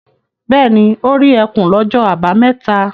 Bẹ́ẹ̀ ni, ó rí ẹkùn lọ́jọ́ àbámẹ́ta.